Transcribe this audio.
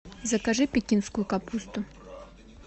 закажи пекинскую капусту